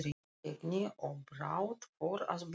Í kraparegni, og brátt fór að blása.